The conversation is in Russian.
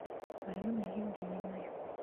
аленой евгеньевной